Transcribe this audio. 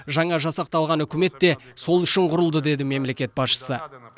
жаңа жасақталған үкімет те сол үшін құрылды деді мемлекет басшысы